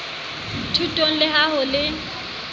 thutong le ha ho le